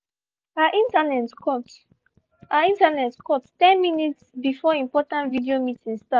our internet cut our internet cut ten minutes before important video meeting start